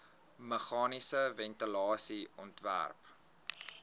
meganiese ventilasie ontwerp